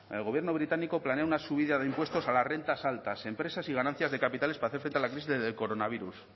el gobierno británico planea una subida de impuestos a las rentas altas empresas y ganancias de capitales para hacer frente a la crisis del coronavirus